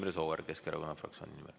Imre Sooäär Keskerakonna fraktsiooni nimel.